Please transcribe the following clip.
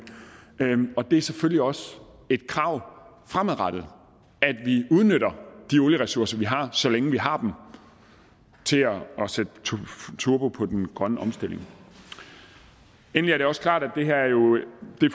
det er selvfølgelig også et krav fremadrettet at vi udnytter de olieressourcer vi har så længe vi har dem til at sætte turbo på den grønne omstilling endelig er det også klart at det her